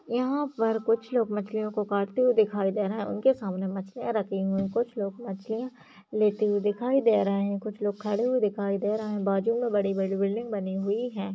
यहां पर कुछ लोग मछलियों को काटते हुए दिखाई दे रहे हैं उनके सामने मछलियां रखी हुई कुछ लोग मछलियां लेते हुए दिखाई दे रहे हैं कुछ लोग खड़े हुए दिखाई दे रहे हैं बाजू में बड़ी-बड़ी बिल्डिंग बनी हुई हैं।